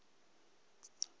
ba be ba re o